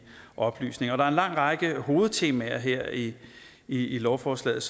oplysninger der er en lang række hovedtemaer her i lovforslaget